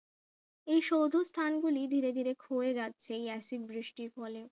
এই সৌধ স্থান গুলি ধীরে ধীরে ক্ষয়ে যাচ্ছে এই অ্যাসিড বৃষ্টির ফলে